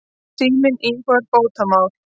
Síminn íhugar bótamál.